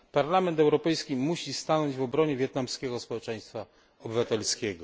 Parlament Europejski musi stanąć w obronie wietnamskiego społeczeństwa obywatelskiego.